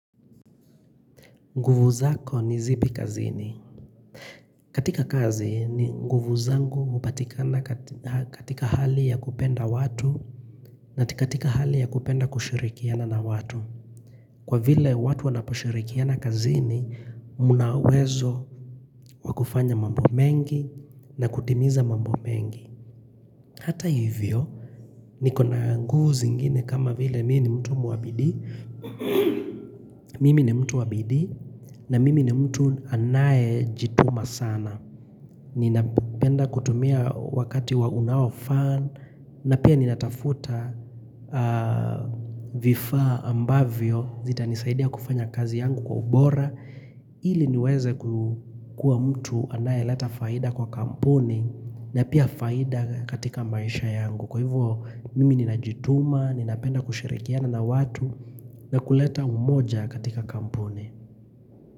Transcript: Nguvu zako ni zipi kazini. Katika kazi ni nguvu zangu hupatikana katika hali ya kupenda watu na katika hali ya kupenda kushirikiana na watu. Kwa vile watu watu wanaposhirikiana kazini, munawezo wakufanya mambo mengi na kutimiza mambu mengi. Hata hivyo, niko na nguvu zingine kama vile mii ni mtu muabidi. Mimi ni mtu wa bidii na mimi ni mtu anayejituma sana. Ninapenda kutumia wakati wa unaofan na pia ninatafuta vifaa ambavyo zitanisaidia kufanya kazi yangu kwa ubora ili niweze kukua mtu anayelata faida kwa kampuni na pia faida katika maisha yangu Kwa hivyo mimi ninajituma, ninapenda kushirikiana na watu na kuleta umoja katika kampuni.